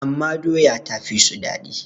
amma doya ta fi su daɗi